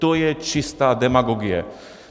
To je čistá demagogie.